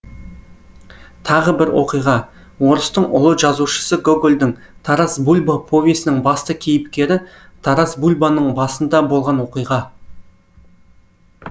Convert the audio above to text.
тағы бір оқиға орыстың ұлы жазушысы гогольдің тарас бульба повесінің басты кейіпкері тарасбульбаның басында болған оқиға